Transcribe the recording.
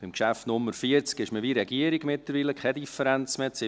Beim Traktandum 40 hat man mittlerweile keine Differenz mehr zur Regierung: